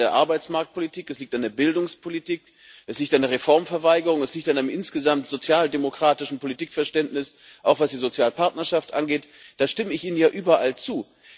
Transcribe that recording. Das liegt an der Arbeitsmarktpolitik, es liegt an der Bildungspolitik, es liegt an der Reformverweigerung, es liegt an einem insgesamt sozialdemokratischen Politikverständnis, auch was die Sozialpartnerschaft angeht da stimme ich Ihnen überall zu.